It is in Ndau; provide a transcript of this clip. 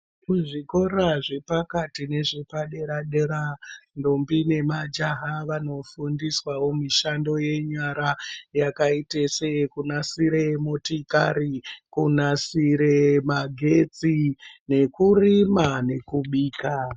Kuzvikora zvepakati nezvepadera-dera ndombi nemahjaha vanofundiswawo mishando yenyara yakaite seyekunasire motikari, kunasire magetsi nekurima nekubika.